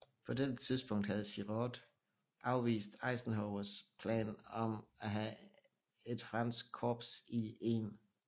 På dette tidspunkt havde Giraud afvist Eisenhowers plan om at have et fransk korps i 1